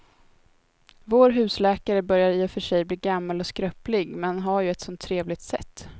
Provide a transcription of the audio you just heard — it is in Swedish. Vår husläkare börjar i och för sig bli gammal och skröplig, men han har ju ett sådant trevligt sätt!